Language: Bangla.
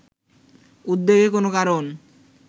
উদ্বেগের কোনও কারণ